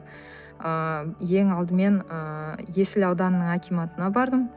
ыыы ең алдымен ыыы есіл ауданының акиматына бардым